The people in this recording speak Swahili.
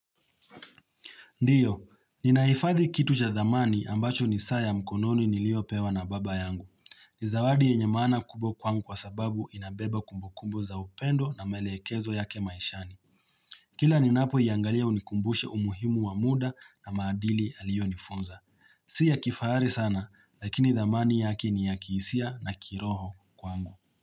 Ndiyo, ninaifadhi kitu cha zamani ambacho ni saa ya mkononi niliopewa na baba yangu. Zawadi ya yenyemaana kubwa kwangu kwa sababu inabeba kumbukumbu za upendo na maelekezo yake maishani. Kila ninapo iangalia unikumbusha umuhimu wa muda na maadili alionifunza. Si yakifahari sana, lakini thamani yake ni ya kisia na kiroho kwangu.